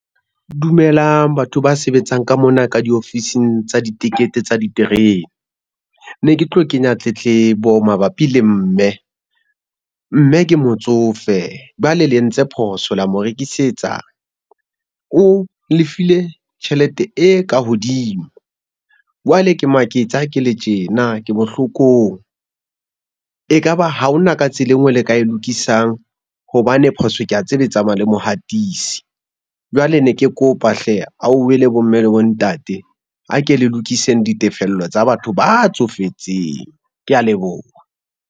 Dumelang batho ba sebetsang ka mona ka diofising tsa ditekete tsa diterene. Ne ke tlo kenya tletlebo mabapi le mme. Mme ke motsofe, jwale le entse phoso la mo rekisetsa. O lefile tjhelete e ka hodimo. Jwale ke maketse ha ke le tjena ke bohlokong. E kaba ha hona ka tsela e nngwe le ka e lokisang hobane phoso ke a tseba e tsamaya le mohatisi. Jwale ne ke kopa hle bomme, le bo ntate a ke le lokiseng ditefello tsa batho ba tsofetseng. Kea leboha.